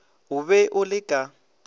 o be o le ka